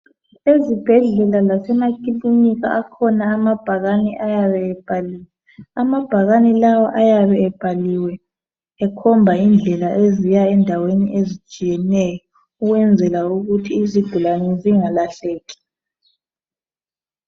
Ezibhendlela lasemakilinika akhona amabhakane ayabe ebhaliwe. Amabhakane lawa ayabe ebhaliwe ekhomba indlela eziya endaweni ezitshiyeneyo ukwenzela ukuthi izigulane zingalahleki